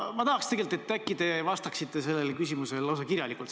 Ma tegelikult tahaksin, et te vastaksite sellele küsimusele lausa kirjalikult.